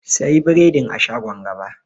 Sayi biredin a shagon gaba.